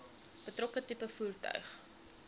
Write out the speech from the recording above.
betrokke tipe voertuig